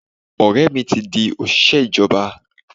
Ọ̀rẹ́ mi ti di òṣìṣẹ́ ìjọba.